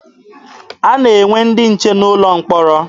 A na-enwe ndị nche n'ụlọ mkpọrọ.